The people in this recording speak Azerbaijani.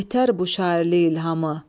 Yetər bu şairlik ilhamı.